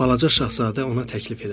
Balaca şahzadə ona təklif elədi.